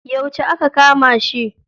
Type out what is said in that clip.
Yauce aka kama shi?